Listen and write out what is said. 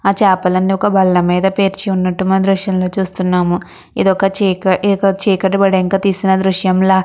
ఆ చాపలు అన్ని ఒక బల్లా మీద పేర్చి ఉన్నట్టు మనం దృశ్యంలో చూస్తున్నాము ఇది ఒక చీక ఇది ఒక చీకటి పడినాక తీసిన దృశ్యంలా.